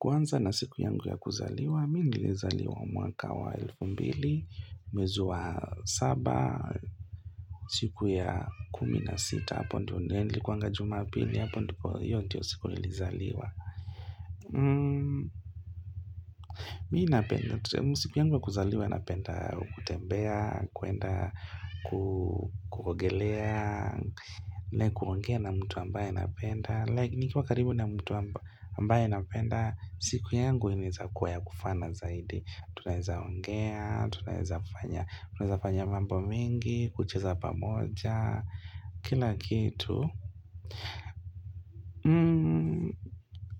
Kwanza na siku yangu ya kuzaliwa, mi nilizaliwa mwaka wa elfu mbili, mwezi wa saba, siku ya kumina sita, hapo ndio ndenli kwangajuma apili, hapo ndiko hiyo ndio siku nilizaliwa Mii napenda, siku yangu ya kuzaliwa napenda, kutembea, kuenda, kukuogelea, nekuongea na mtu ambaye napenda Niki wakaribu na mtu ambaye napenda, siku yangu inaezakua ya kufana zaidi Tunaeza ongea, tunaezafanya tunaeza fanya mambo mingi, kucheza pamoja, kila kitu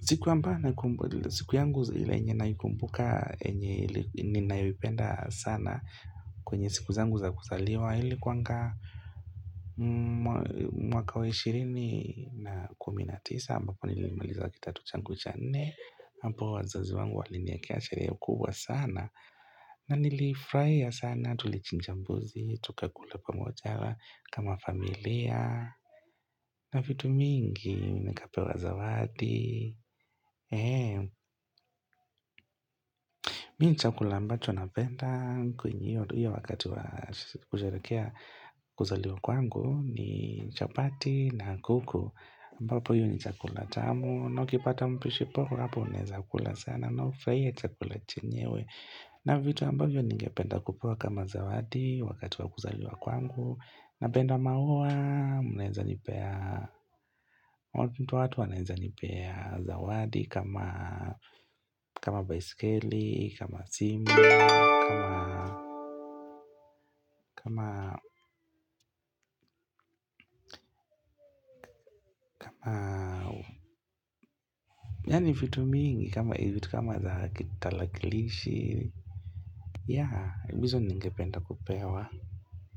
siku amba, siku yangu ile yenye naikumbuka enye ninaipenda sana kwenye siku zangu za kuzaliwa ili kuwanga mwaka wa ishirini na kumi na tisa ambapo nilimaliza kidato changu cha nne apo wazazi wangu waliniwekea sherehe kubwa sana na nilifraia sana tulichinja mbuzi, tukakula pamojaa kama familia na vitu mingi nikapewa zawadi Mii ni chakula ambaco anapenda kwenye hiyo wakati wa kusherekea kuzaliwa kwangu ni chapati na kuku ambapo hiyo ni chakula tamu na ukipata mpishi poa Hapo unaeza kula sana na furaie chakula chenyewe na vitu ambavyo ningependa kupewa kama zawadi Wakati wa kuzaliwa kwangu Napenda maua Mwananeza nipea watu wanaeza nipea zawadi kama baisikeli kama simu kama yani vitu mingi kama za kitalakilishi ya hizo ningependa kupewa.